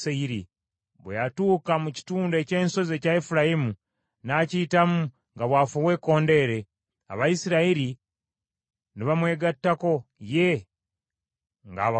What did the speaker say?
Bwe yatuuka mu kitundu eky’ensozi ekya Efulayimu n’akiyitamu nga bw’afuuwa ekkondeere, Abayisirayiri ne bamwegattako ye nga abakulembeddemu.